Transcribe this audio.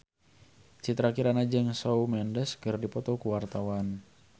Citra Kirana jeung Shawn Mendes keur dipoto ku wartawan